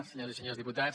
senyores i senyors diputats